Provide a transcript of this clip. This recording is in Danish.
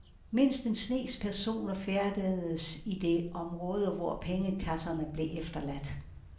Mindst en snes personer færdedes i det område, hvor pengekasserne blev efterladt.